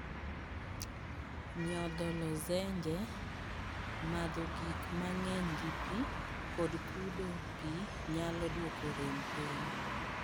Nyotho lozenje, madho gik mang�eny gi pi, kod kudo pi nyalo dwoko rem piny.